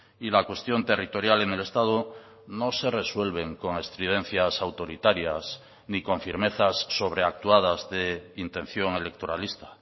y la cuestión territorial en el estado no se resuelven con estridencias autoritarias ni con firmezas sobreactuadas de intención electoralista